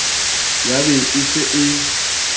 ya be e se e